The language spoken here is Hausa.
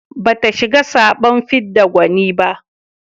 Bata shiga zaɓen fidda gwani ba.